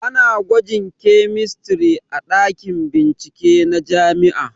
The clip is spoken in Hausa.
Ana gwajin kemistri a ɗakin bincike na jami'a